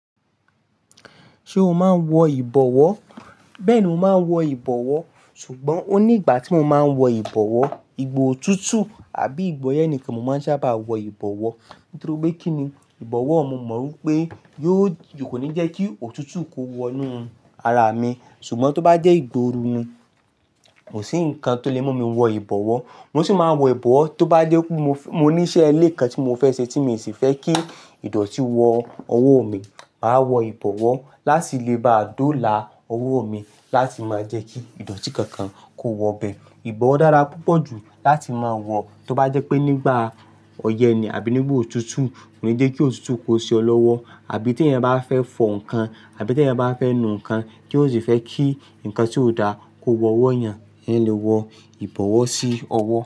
Ṣé o máa ń wọ ìbọwọ́? Bẹ́ẹ̀ni, mo máa ń wọ ìbọwọ́ sùgbọ́n ó ní ìgbà tí mo máa ń wọ ìbọwọ́, ìgbọ́ o tuntun àbí ìgbọ́ yẹn nìkan mo máa ń sábà wọ ìbọwọ́. Nítorí pé kíni ìbọwọ́, mo mọ̀ wípé yóò kò ní jẹ́ kí òtútù kó wọnú ara mi. Ṣùgbọ́n tó bá jẹ́ ìgbọ́ oro ni, kò sí nǹkan tó lè mú mi wọ ìbọwọ́. Mo sì máa wọ ìbọwọ́ tó bá jẹ́ pé mo ní iṣẹ́ ẹlẹ́ẹ̀kan tí mo fẹ́ ṣe tí sì fẹ́ kí ìdọ̀tí wọ ọwọ́ mi, màá wọ ìbọwọ́ láti lè bá dóla owó mi láti máa jẹ́ kí ìdọ̀tí kankan kó wọ bẹ. Ìbọwọ́ dára púpọ̀ jù láti máa wọ tó bá jẹ́ pé nígbà ọyẹ́ ni àbí nígbà òtútù, kó ní jẹ́ kí òtútù kó se ọ lọ́wọ́. Àbí tí ẹyan bá fẹ́ fọ ǹkan àbí tí ẹyan bá fẹ́ nu ǹkan kí ó sì fẹ́ kí ǹkan tí ó da kó wọ ọwọ́ yẹn, ẹyan lè wọ ìbọwọ́ sí ọwọ́.